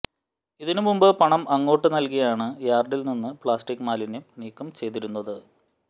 ഇതിനുമുമ്പ് പണം അങ്ങോട്ട് നല്കിയാണ് യാര്ഡില്നിന്ന് പ്ളാസ്റ്റിക്് മാലിന്യം നീക്കം ചെയ്തിരുന്നത്